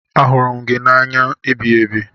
Ahụrụ m gị n'anya ebighiebi.